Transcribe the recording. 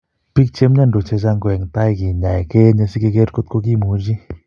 Biik che mnyandos chechang' ko eng' tai ke ny'aay ke eenye sikecher kot ko kimuchi.